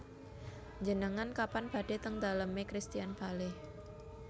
Njenengan kapan badhe teng dalem e Christian Bale